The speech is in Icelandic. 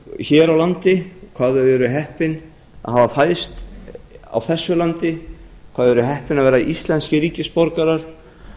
hér á landi hvað þau eru heppin að hafa fæðst á þessu landi hvað þau eru heppin að vera íslenskir ríkisborgarar